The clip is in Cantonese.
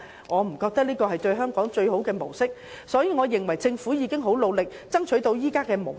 我認為這並非最有利於香港的模式，所以政府其實已經很努力，才能爭取到現時的模式。